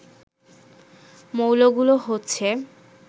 মৌলগুলো হচ্ছে